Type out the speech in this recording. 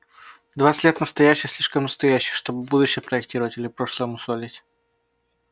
в двадцать лет настоящее слишком настоящее чтобы будущее проектировать или прошлое мусолить